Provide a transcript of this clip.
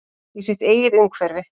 Í sitt eigið umhverfi.